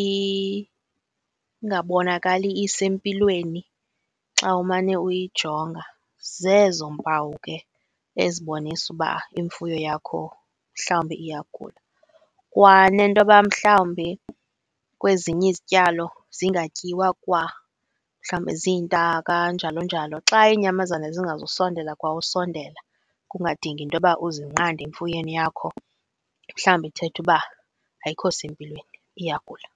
ingabonakali isempilweni xa umane uyijonga, zezo mpawu ke ezibonisa uba imfuyo yakho mhlawumbi iyagula. Kwa nentoba mhlawumbi kwezinye izityalo zingatyiwa kwa mhlawumbi ziintaka, njalo njalo. Xa iinyamazana zingazusondela kwa ukusondela, kungadingi intoba uzinqande emfuyweni yakho mhlwawumbi ithetha uba ayikho sempilweni, iyagula.